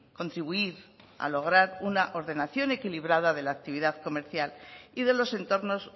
contribuir a lograr una ordenación equilibrada de la actividad comercial y de los entornos